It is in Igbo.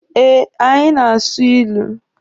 Eh, anyị na-asụ ilu.